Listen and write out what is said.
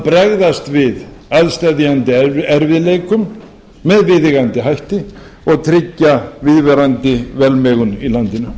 bregðast við aðsteðjandi erfiðleikum með viðeigandi hætti og tryggja viðvarandi velmegun í landinu